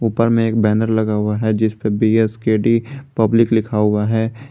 ऊपर में एक बैनर लगा हुआ है जिस पे बी_एस_के_डी पब्लिक लिखा हुआ है।